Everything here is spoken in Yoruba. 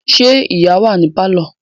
Ṣé ìyá wà ní pálọ̀?